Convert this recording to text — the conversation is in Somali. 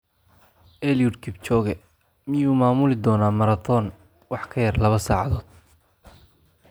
Eliud Kipchoge: Miyuu maamuli doonaa marathon wax ka yar laba saacadood?